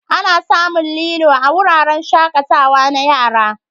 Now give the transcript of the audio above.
Ana samun lilo a wuraren shakatawa na yara.